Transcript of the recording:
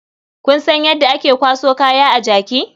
Kun san yadda ake kwaso kaya a jaki?